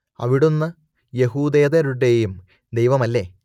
അവിടുന്ന് യഹൂദേതരരുടേയും ദൈവമല്ലേ